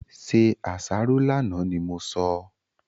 Se àsáró lánàá ni mo sọ!